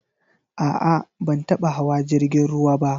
A'a, ban taba hawa jrigin ruwa ba.